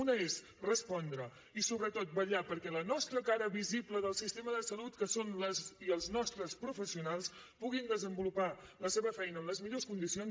una és respondre i sobretot vetllar perquè la nostra cara visible del sistema de salut que són les i els nostres professionals puguin desenvolupar la seva feina en les millor condicions